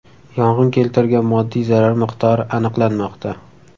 Yong‘in keltirgan moddiy zarar miqdori aniqlanmoqda.